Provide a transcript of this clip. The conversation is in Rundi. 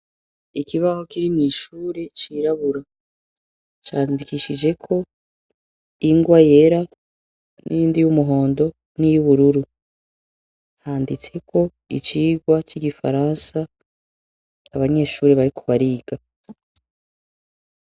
Ikibaho kiri mw'ishure cirabura, candikishijeko ingwa yera , niyindi y'umuhondo, niy'ubururu, handitseko icigwa c'igifaransa abanyeshure bariko bariga.